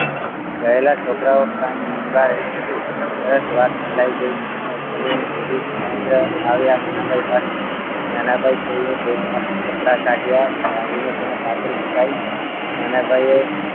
કહેલા છોકરાઓ કદાચ વાત ફેલાઈ ગઈ ગિરીશ મહેન્દ્ર આવ્યા નાના ભાઈ પાસે નાના ભાઈએ bag માંથી કપડા કાઢ્યા કાઢીને તેના પાછળ મુકાઈ નાના ભાઈએ